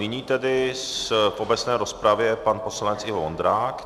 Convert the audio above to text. Nyní tedy v obecné rozpravě pan poslanec Ivo Vondrák.